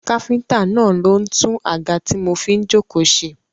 Káfíntà náà ló ń tún àga tí mo fi jókòó ṣe.